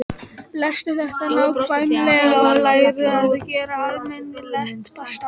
Lestu þetta nákvæmlega og lærðu að gera almennilegt pasta.